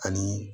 Ani